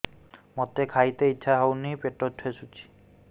ମୋତେ ଖାଇତେ ଇଚ୍ଛା ହଉନି ପେଟ ଠେସୁଛି